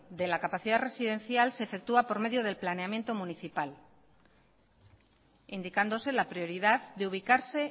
de la capacidad residencial se efectúa por medio del planeamiento municipal indicándose la prioridad de ubicarse